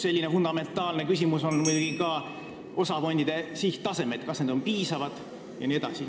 Üks fundamentaalseid küsimusi on muidugi ka osafondide sihttasemed, kas need on piisavad jne.